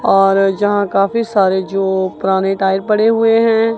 और जहां काफी सारे जो पुराने टायर पड़े हुए हैं।